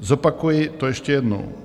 Zopakuji to ještě jednou.